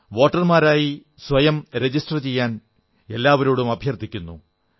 വോട്ടർമാരായി സ്വയം രജിസ്റ്റർ ചെയ്യാൻ എല്ലാവരോടും അഭ്യർഥിക്കുന്നു